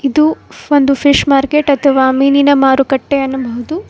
ಇದು ಒಂದು fish market ಅಥವಾ ಮೀನಿನ ಮಾರುಕಟ್ಟೆ ಯನ್ನಬಹುದು.